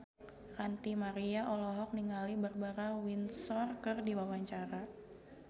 Ranty Maria olohok ningali Barbara Windsor keur diwawancara